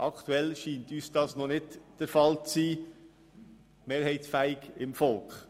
Aktuell scheint uns die Mehrheitsfähigkeit beim Volk noch nicht gegeben zu sein.